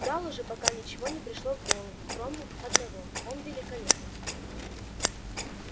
гаалу же пока ничего не пришло в голову кроме одного он великолепен